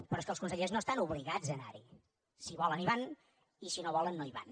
però és que els consellers no estan obligats a anar hi si volen hi van i si no volen no hi van